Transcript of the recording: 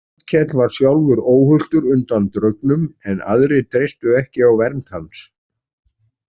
Arnkell var sjálfur óhultur undan draugnum en aðrir treystu ekki á vernd hans.